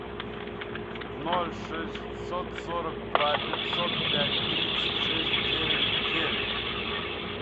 ноль шестьсот сорок два пятьсот пять тридцать шесть девять девять